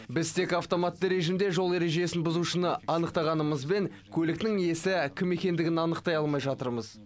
біз тек автоматты режимде жол ережесін бұзушыны анықтағанымызбен көліктің иесі кім екендігін анықтай алмай жатырмыз